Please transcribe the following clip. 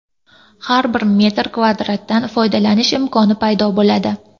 Har bir metr kvadratdan foydalanish imkoni paydo bo‘ladi.